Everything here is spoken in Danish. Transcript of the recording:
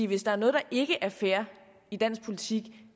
hvis der er noget der ikke er fair i dansk politik